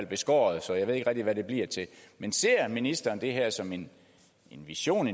beskåret så jeg ved ikke rigtig hvad det bliver til men ser ministeren det her som en vision